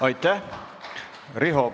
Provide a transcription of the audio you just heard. Aitäh!